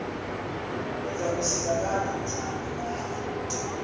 uzakusizakala njani ngani